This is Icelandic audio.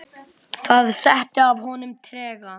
Það setti að honum trega.